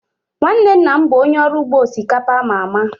Nwanne nna m bụ onye ọrụ ugbo osikapa a ma ama